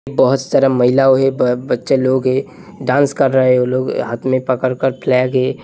बहोत सारे महिला बच्चा लोग है डांस कर रहा है वो लोग हाथ में पकर कर फ्लैग ये --